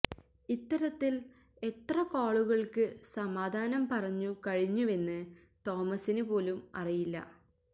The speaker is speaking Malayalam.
ഇത്തരത്തിൽ എത്ര കോളുകൾക്ക് സമാധാനം പറഞ്ഞു കഴിഞ്ഞുവെന്ന് തോമസിന് പോലും അറിയില്ല